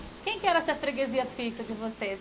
Quem que era essa freguesia fixa de vocês?